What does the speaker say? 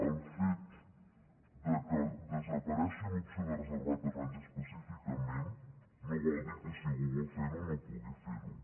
el fet que desaparegui l’opció de reservar terrenys específicament no vol dir que si algú vol fer ho no pugui fer ho